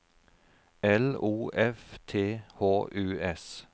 L O F T H U S